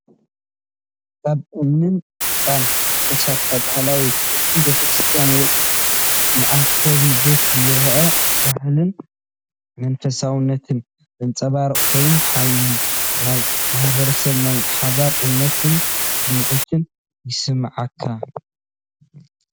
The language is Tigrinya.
ካብ እምንን ጭቃን ዝተሰርሐ ባህላዊ ክቢ ቤተክርስትያን ወይ መአከቢ ቤት ይርአ። ባህልን መንፈሳውነትን ዘንጸባርቕ ኮይኑ፡ ሓያል ናይ ማሕበረሰብን ናይ ሓባር እምነትን ስምዒት ይስማዓካ፡፡